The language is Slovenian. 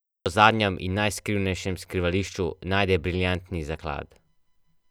Nazadnje v obupu in dvomu v čisto zadnjem in najskrivnejšem skrivališču najde briljantni zaklad.